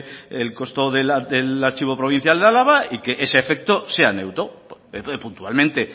el costo del archivo provincial de álava y que ese efecto sea neutro puntualmente